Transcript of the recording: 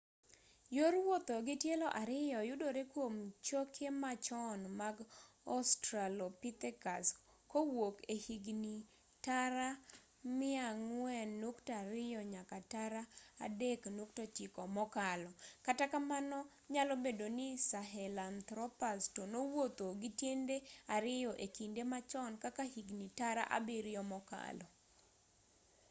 yor wuotho gi tielo ariyo yudore kwom choke machon mag australopithecus kowuok e higni tara 4.2-3.9 mokalo kata kamano nyalo bedo ni sahelanthropus to nowuotho gi tiende ariyo e kinde machon kaka higni tara abiryo mokalo